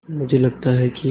मुझे लगता है कि